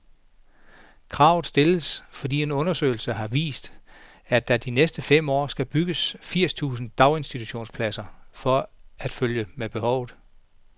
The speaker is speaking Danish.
Kravet stilles, fordi en undersøgelse har vist, at der de næste fem år skal bygges firs tusind daginstitutionspladser for at følge med behovet.